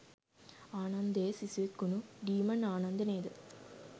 ආනන්දයේ සිසුවෙක්‌ වුනු ඩීමන් ආනන්ද නේද?